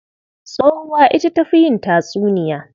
Tsohuwa ita ta fi yin tatsuniya.